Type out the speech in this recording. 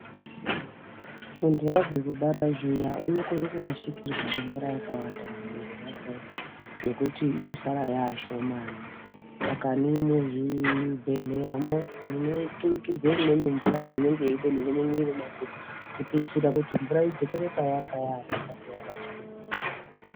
Munthu abva kubara zviya unokone kurashikirwa ngemvura yakawanda mumwiri make umu zvekuti inosara yaashomani sakani muzvibhedhleyamo munoturikirwa imweni mvura inenge yeidonhera mumwiri mwako kututsira kuti mvura idzokere payanga yaari isati yarashika.